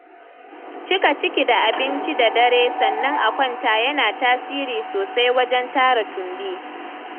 Cika ciki da abinci da dare sannan a kwanta yana tasiri sosai wajen tara tumbi